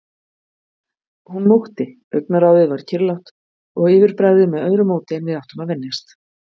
Hún mókti, augnaráðið var kyrrlátt og yfirbragðið með öðru móti en við áttum að venjast.